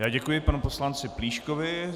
Já děkuji panu poslanci Plíškovi.